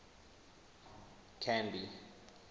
canby